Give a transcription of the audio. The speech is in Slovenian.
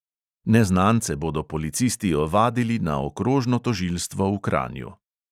Neznance bodo policisti ovadili na okrožno tožilstvo v kranju.